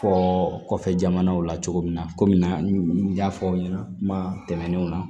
Fɔ kɔfɛ jamanaw la cogo min na komi n y'a fɔ aw ɲɛna kuma tɛmɛnenw na